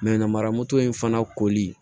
namaramuso in fana koli